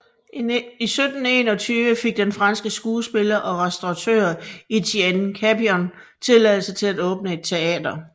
I 1721 fik den franske skuespiller og restauratør Etienne Capion tilladelse til at åbne et teater